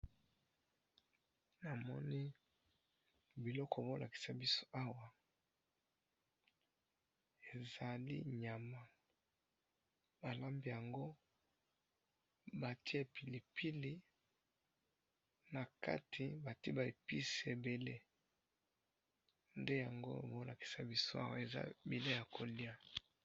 nga namini biloko bazolakisa biso awa ezali biloko ya koliya ezali pilipili batiye ba epice ebele ezali biloko ya koliya nde bazolakisa biso awa.